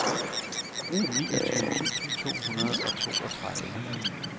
niogtyve tusind to hundrede og toogtredive